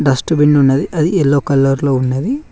Dust bin ఉన్నది అది yellow colour లో ఉన్నది.